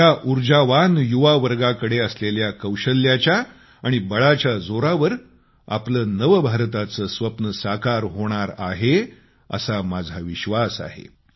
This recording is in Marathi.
या ऊर्जावान युवावर्गाकडे असलेल्या कौशल्याच्या जोरावर आपले नव भारताचे स्वप्न साकार होणार आहे असा माझा विश्वास आहे